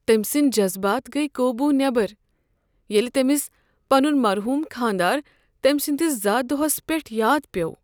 تٔمۍ سٕندۍ جذبات گٔیہِ قوبو نٮ۪بر ییٚلہِ تٔمس پنن مرحوٗم خاندار تٔمۍ سٕنٛدِس زا دۄہس پٮ۪ٹھ یاد پیوٚو۔